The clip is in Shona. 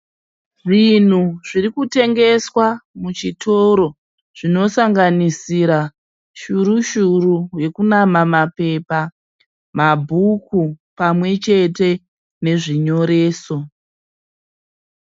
Zvinhu zviri kutengeswa muchitoro zvinosanganisira shuru shuru yokunama mapepa, mabhuku pamwe chete nezvinyoreso.